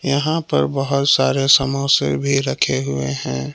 यहां पर बहुत सारे समोसे भी रखे हुए हैं।